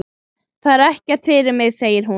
Það er ekkert fyrir mig, segir hún.